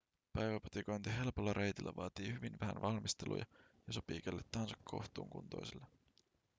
päiväpatikointi helpolla reitillä vaatii hyvin vähän valmisteluja ja sopii kelle tahansa kohtuukuntoiselle